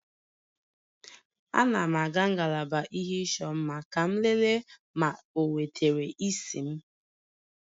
Ana m aga ngalaba ihe ịchọ mma ka m lelee ma o wetara isi m